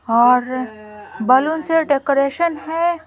और बलून से डेकोरेशन है।